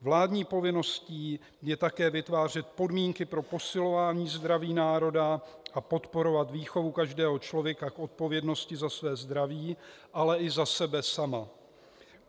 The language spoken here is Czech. Vládní povinností je také vytvářet podmínky pro posilování zdraví národa a podporovat výchovu každého člověka k odpovědnosti za své zdraví, ale i za sebe sama.